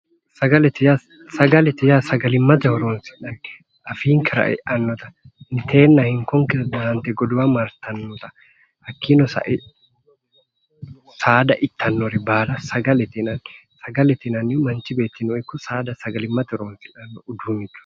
Sagalete yaa sagalimmate horonsi'nannite afiinkera e'annota inteenna hinkonera daahante godowa martannota hakkiino sa'e saada ittannore baala sagalete yinanni sagalete yinanniti manchi beettira ikko saada sagalimmate horonsidhannorichooti